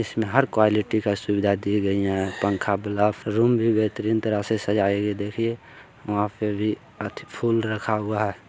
इसमें हर क्वालिटी की सुविधा दी गई है पंखा ब्लफ रूम भी बेहतरीन तरह से सजाए गए हैं देखिए वहां पे भी अति फुल रखा हुआ है।